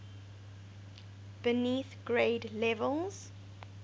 beneath grade levels